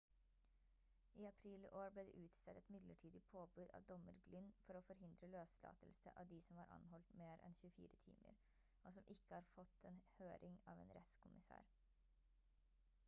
i april i år ble det utstedt et midlertidig påbud av dommer glynn for å forhindre løslatelse av de som var anholdt mer enn 24 timer som ikke hatt fått en høring av en rettskommisær